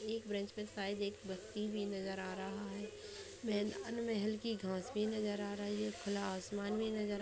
एक ब्रेंच पे शायद एक व्यक्ति भी नजर आ रहा है मैदान में हल्की घास भी नजर आ रही है खुला आसमान भी नजर--